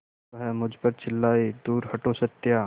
वह मुझ पर चिल्लाए दूर हटो सत्या